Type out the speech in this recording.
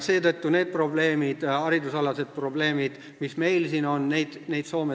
Seetõttu selliseid haridusprobleeme, mis meil siin on, Soomes ei ole.